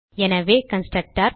எனவே கன்ஸ்ட்ரக்டர்